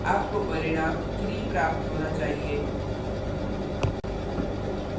आपको परिणाम 3 प्राप्त होना चाहिए